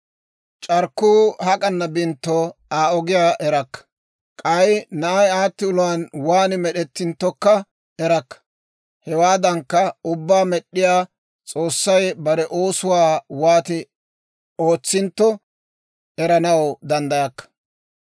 C'arkkuu hak'anna bintto, Aa ogiyaa erakka; k'ay na'ay aatti uluwaan waan med'ettinttokka erakka. Hewaadankka, ubbabaa med'd'iyaa S'oossay bare oosuwaa wooti ootsintto, eranaw danddayakka.